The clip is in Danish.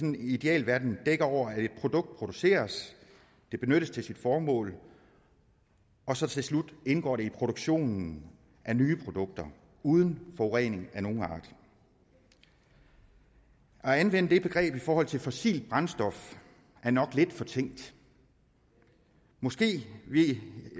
en idealverden dækker over at et produkt produceres benyttes til sit formål og så til slut indgår i produktionen af nye produkter uden forurening af nogen art at anvende det begreb i forhold til fossile brændstoffer er nok lidt fortænkt måske vi